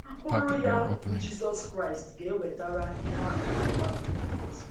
Mkpụrụ ya, bụ́ Jizọs Kraịst, ga - ewetara ihe a kpọrọ mmadụ ngọzi